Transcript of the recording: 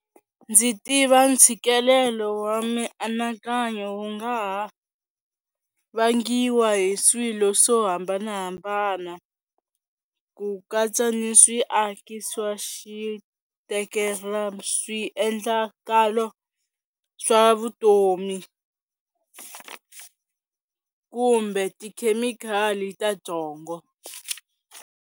Ndzi tiva ntshikelelo wa mianakanyo wu nga ha vangiwa hi swilo swo hambanahambana ku katsa ni swiaki swa xi swiendlakalo swa vutomi, kumbe tikhemikhali ta byongo.